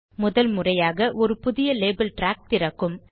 முதல்முறையாக ஒரு புதிய லேபல் ட்ராக் திறக்கும்